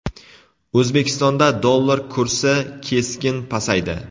O‘zbekistonda dollar kursi keskin pasaydi.